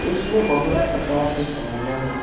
इसमें बहुत प्रकार के साड़ियाँ हैं ।